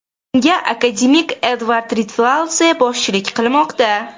Unga akademik Edvard Rtveladze boshchilik qilmoqda.